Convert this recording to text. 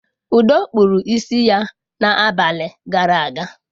Udo kpụrụ isi ya na abalị gara aga.